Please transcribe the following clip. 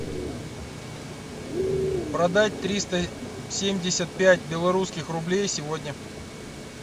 продать триста семьдесят пять белорусских рублей сегодня